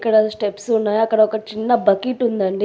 ఇక్కడ స్టెప్స్ ఉన్నాయ్. అక్కడ ఒక చిన్న బకిట్ ఉందండి.